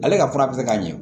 Ale ka fura bɛ se ka ɲɛ